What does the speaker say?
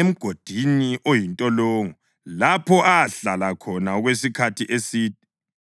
emgodini oyintolongo lapho ahlala khona okwesikhathi eside.